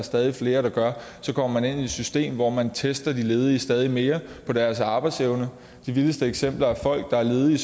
stadig flere gør så kommer man ind i et system hvor man tester de ledige stadig mere på deres arbejdsevne de vildeste eksempler er at folk der er ledige i